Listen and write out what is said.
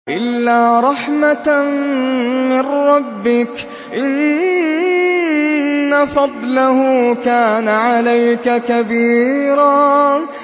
إِلَّا رَحْمَةً مِّن رَّبِّكَ ۚ إِنَّ فَضْلَهُ كَانَ عَلَيْكَ كَبِيرًا